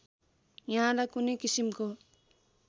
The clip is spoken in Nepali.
यहाँलाई कुनै किसिमको